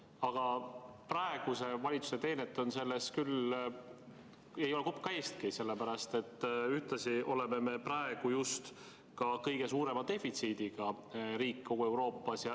Aga praeguse valitsuse teenet ei ole selles küll kopka eestki, sellepärast et ühtlasi oleme me praegu ka kõige suurema defitsiidiga riik kogu Euroopas.